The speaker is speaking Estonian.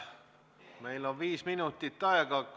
Meil on viis minutit aega.